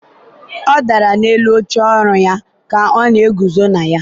ọ dara n'elu oche ọrụ ya ka ọ na-eguzo na ya.